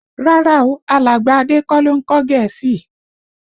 Rárá o, alàgbà Adé kọ́ ló ń kọ́ Gẹ̀ẹ́sì